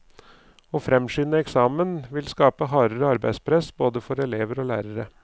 Å fremskynde eksamen vil skape hardere arbeidspress, både for elever og lærere.